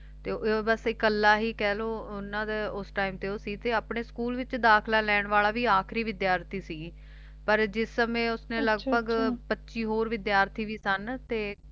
ਤੇ ਇਓਂ ਬਸ ਇਕੱਲਾ ਹੀ ਕਹਿਲੋ ਓਹਨਾ ਦਾ ਉਸ time ਤੇ ਉਹ ਸੀ ਤੇ ਆਪਣੇ school ਵਿਚ ਦਾਖਲਾ ਲੈਣ ਵਾਲਾ ਵੀ ਆਖਰੀ ਵਿਦਿਆਰਥੀ ਸੀ ਪਰ ਜਿਸ ਸਮੇਂ ਉਸਨੇ ਲਗਭਗ ਪੱਚੀ ਹੋਰ ਵਿਦਿਆਰਥੀ ਵੀ ਸਨ ਤੇ